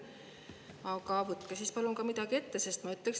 Aga võtke siis palun ka midagi ette!